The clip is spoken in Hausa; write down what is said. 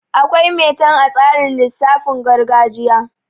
Akwai metan a tsarin lisaafin gargajiya